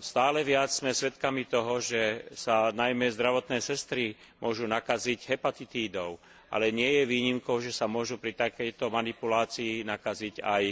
Stále viac sme svedkami toho, že sa najmä zdravotné sestry môžu nakaziť hepatitídou, ale nie je výnimkou, že sa môžu pri takejto manipulácii nakaziť aj